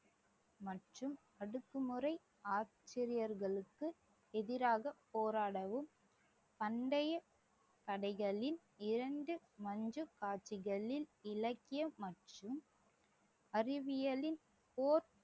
மற்றும் அடக்குமுறை ஆசிரியர்களுக்கு எதிராக போராடவும் அண்டைய கடைகளில் இரண்டு இலக்கியம் மற்றும் அறிவியலில் போர்